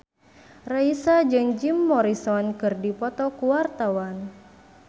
Raisa jeung Jim Morrison keur dipoto ku wartawan